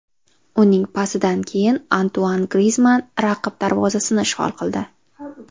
Uning pasidan keyin Antuan Grizmann raqib darvozasini ishg‘ol qildi.